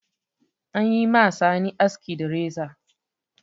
An yi ma Sani aski da reza.